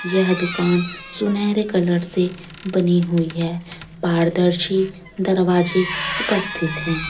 यह दुकान सुनहरे कलर से बनी हुई है पारदर्शी दरवाजे उपस्थित है।